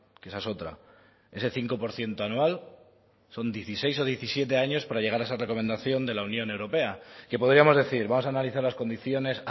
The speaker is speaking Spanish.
que esa es otra ese cinco por ciento anual son dieciséis o diecisiete años para llegar a esa recomendación de la unión europea que podríamos decir vamos a analizar las condiciones